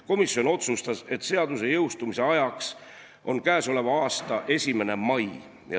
Komisjon otsustas, et seaduse jõustumise ajaks on k.a 1. mai.